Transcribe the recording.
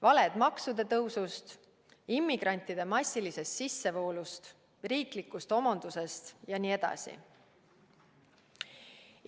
Valed maksude tõusu, immigrantide massilise sissevoolu, riikliku homonduse jms kohta.